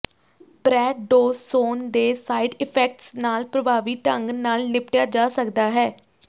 ਪ੍ਰੈਡੋਸੋਨ ਦੇ side effects ਨਾਲ ਪ੍ਰਭਾਵੀ ਢੰਗ ਨਾਲ ਨਿਪਟਿਆ ਜਾ ਸਕਦਾ ਹੈ